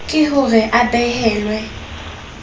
ke ho re a behellwe